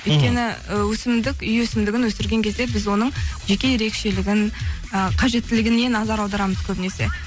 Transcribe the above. өйткені і өсімдік үй өсімдігін өсірген кезде біз оның жеке ерекшелігін і қажеттілігіне назар аударамыз көбінесе